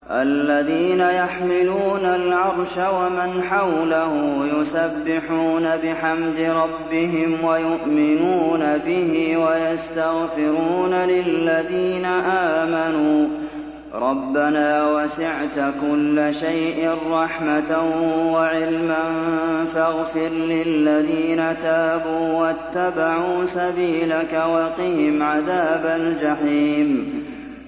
الَّذِينَ يَحْمِلُونَ الْعَرْشَ وَمَنْ حَوْلَهُ يُسَبِّحُونَ بِحَمْدِ رَبِّهِمْ وَيُؤْمِنُونَ بِهِ وَيَسْتَغْفِرُونَ لِلَّذِينَ آمَنُوا رَبَّنَا وَسِعْتَ كُلَّ شَيْءٍ رَّحْمَةً وَعِلْمًا فَاغْفِرْ لِلَّذِينَ تَابُوا وَاتَّبَعُوا سَبِيلَكَ وَقِهِمْ عَذَابَ الْجَحِيمِ